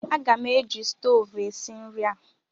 Aga m eji stoovu esi nri a.